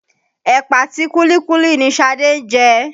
Ẹ̀pà àti kúlíkúlí ni Ṣadé ń jẹ.